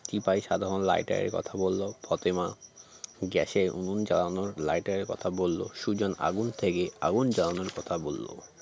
টিপাই সাধারণ lighter -এর কথা বলল ফতেমা gas -এর উনুন জ্বালানোর lighter -এর কথা বলল সুজন আগুন থেকে আগুন জ্বালানোর কথা বলল